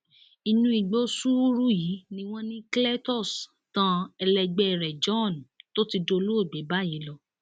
inú igbó sùúrù yìí ni wọn ní cletus tán ẹlẹgbẹ rẹ john tó ti dolóògbé báyìí lọ